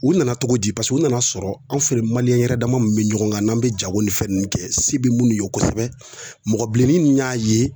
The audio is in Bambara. U nana cogo di u nan'a sɔrɔ an fɛ maliyɛn yɛrɛ dama min bɛ ɲɔgɔn kan n'an bɛ jago ni fɛn ninnu kɛ se bɛ minnu ye kosɛbɛ mɔgɔ bilennin y'a ye